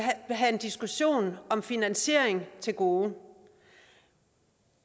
have en diskussion om finansiering til gode